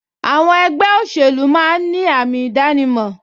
Àwọn ẹgbẹ́ òṣèlú máa ń ní àmì ìdánimọ̀